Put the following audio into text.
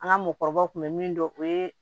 An ka mɔgɔkɔrɔbaw kun bɛ min dɔn o ye